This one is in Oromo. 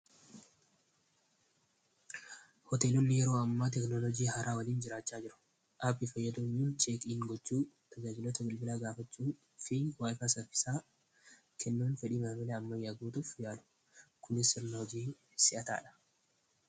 Hoteelonni yeroo ammaa teknolojii haaraa waliin jiraachaa jiru appii fayyadoyuun cheekiin gochuu tajaajilota bilbilaa gaafachuu fi waayikaasaf isaa kennoon fedhii maamila amma yaalu kunis si'ataadha.